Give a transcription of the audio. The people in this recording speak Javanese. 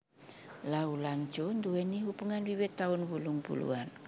Lau lan Choo nduwèni hubungan wiwit taun wolung puluhan